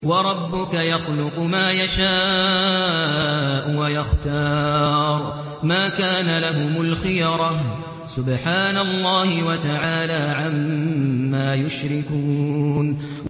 وَرَبُّكَ يَخْلُقُ مَا يَشَاءُ وَيَخْتَارُ ۗ مَا كَانَ لَهُمُ الْخِيَرَةُ ۚ سُبْحَانَ اللَّهِ وَتَعَالَىٰ عَمَّا يُشْرِكُونَ